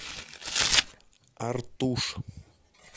артуш